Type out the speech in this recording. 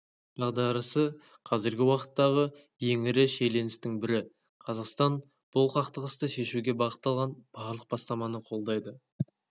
дағдарысы қазіргі уақыттағы ең ірі шиеленістің бірі қазақстан бұл қақтығысты шешуге бағытталған барлық бастаманы қолдайды